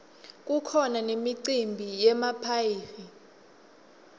kukhona nemicimbi yemaphayhi